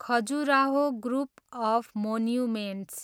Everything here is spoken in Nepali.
Khajuraho group of monuments